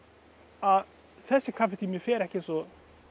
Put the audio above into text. að þessi kaffitími fer ekki eins og